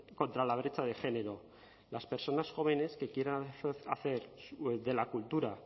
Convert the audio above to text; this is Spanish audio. contra la brecha de género las personas jóvenes que quieran hacer de la cultura